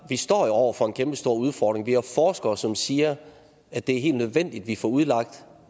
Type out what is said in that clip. vi står over for en kæmpestor udfordring når vi har forskere som siger at det er helt nødvendigt at vi får udlagt